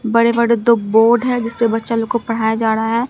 बड़े बड़े दो बोर्ड है जिस पर बच्चा लोग को पढ़ाया जा रहा है।